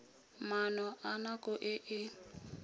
maano a nako e e